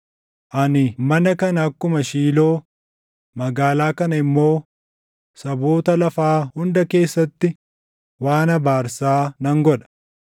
ani mana kana akkuma Shiiloo, magaalaa kana immoo saboota lafaa hunda keessatti waan abaarsaa nan godha.’ ”